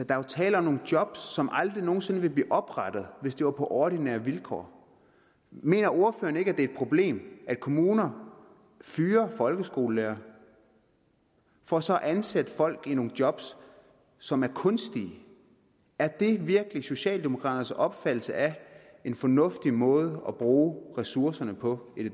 er jo tale om nogle job som aldrig nogen sinde ville blive oprettet hvis det var på ordinære vilkår mener ordføreren ikke det er et problem at kommuner fyrer folkeskolelærere for så at ansætte folk i nogle job som er kunstige er det virkelig socialdemokraternes opfattelse af en fornuftig måde at bruge ressourcerne på i